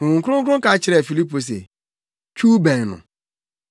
Honhom Kronkron ka kyerɛɛ Filipo se, “Twiw bɛn no.”